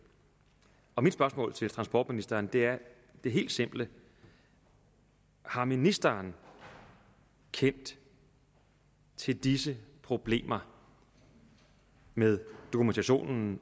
og mit spørgsmål til transportministeren er det helt simple har ministeren kendt til disse problemer med dokumentationen